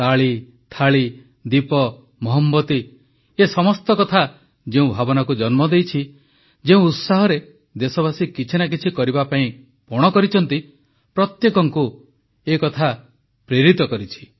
ତାଳି ଥାଳି ଦୀପ ମହମବତି ଏ ସମସ୍ତ କଥା ଯେଉଁ ଭାବନାକୁ ଜନ୍ମ ଦେଇଛି ଯେଉଁ ଉତ୍ସାହରେ ଦେଶବାସୀ କିଛି ନା କିଛି କରିବାପାଇଁ ପଣ କରିଛନ୍ତି ପ୍ରତ୍ୟେକଙ୍କୁ ଏ କଥା ପ୍ରେରିତ କରିଛି